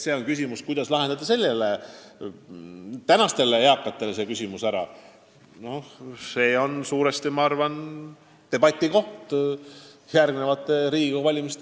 See, kuidas aidata praegusi eakaid, on minu arvates üks debatiteemasid enne järgmisi Riigikogu valimisi.